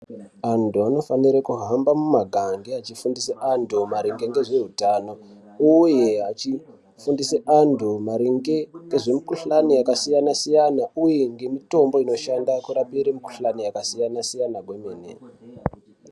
Antu anofanira kuahamba mumagande achifundise antu maringe ngezveutano uye achifundise antu maringe ngezvemikhuhlani yakasiyana-siyana uye ngemitombo inoshanda kurapire mikhuhlani yakasiyana-siyana kwemene.